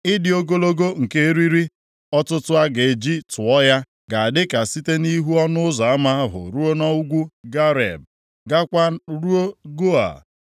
Ịdị ogologo nke eriri ọtụtụ a ga-eji tụọ ya ga-adị ka site nʼihu ọnụ ụzọ ama ahụ ruo nʼugwu Gareb, gaakwa ruo Goa.